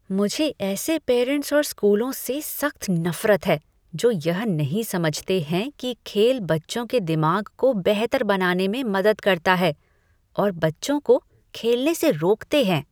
मुझे ऐसे पेरेंट्स और स्कूलों से सख्त नफरत है जो यह नहीं समझते हैं कि खेल बच्चों के दिमाग को बेहतर बनाने में मदद करता है और बच्चों को खेलने से रोकते हैं।